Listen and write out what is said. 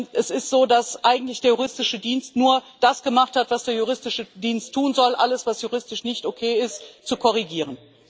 Es ist so, dass der Juristische Dienst eigentlich nur das gemacht hat, was der Juristische Dienst tun soll alles, was juristisch nicht okay ist, zu korrigieren.